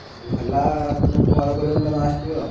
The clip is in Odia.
ଯଦି ହେଲା ତମକୁ call କରିବି ତମେ ଆସିବ।